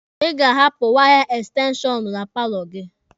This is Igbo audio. Ị ga-ahapụ waya ekstenshọnụ na paalọ gị.